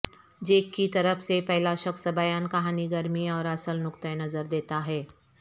Jack کی طرف سے پہلا شخص بیان کہانی گرمی اور اصل نقطہ نظر دیتا ہے